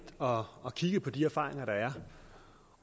og og kigget på de erfaringer der er